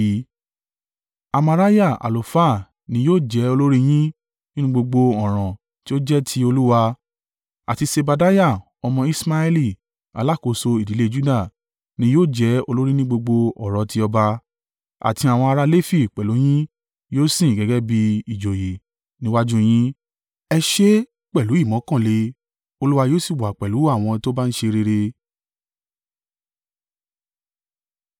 “Amariah àlùfáà ni yóò jẹ́ olórí yín nínú gbogbo ọ̀ràn tí ó jẹ́ ti Olúwa, àti Sebadiah ọmọ Iṣmaeli alákòóso ìdílé Juda, ní yóò jẹ́ olórí ní gbogbo ọ̀rọ̀ tí ọba, àti àwọn ará Lefi pẹ̀lú yin yóò sìn gẹ́gẹ́ bí ìjòyè níwájú yín. Ẹ ṣe é pẹ̀lú ìmọ́kànle, Olúwa yóò sì wà pẹ̀lú àwọn tó bá ń ṣe rere.”